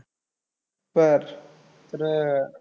तर तर अह